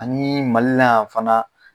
Ani Mali la yan fana